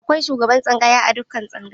Akwai shugaban tsangaya a dukkan tsangaya.